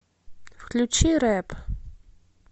включи рэп